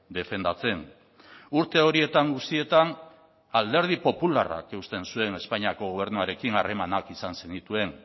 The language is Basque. defendatzen urte horietan guztietan alderdi popularrak eusten zuen espainiako gobernuarekin harremanak izan zenituen